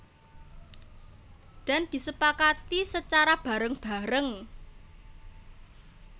Dan disepakati secara bareng bareng